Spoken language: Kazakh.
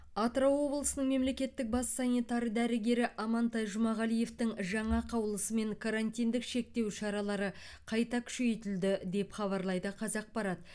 атырау облысының мемлекеттік бас санитар дәрігері амантай жұмағалиевтың жаңа қаулысымен карантиндік шектеу шаралары қайта күшейтілді деп хабарлайды қазақпарат